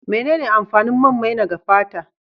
Menene amfanin man maina ga fata?